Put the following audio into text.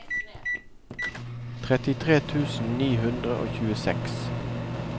trettitre tusen ni hundre og tjueseks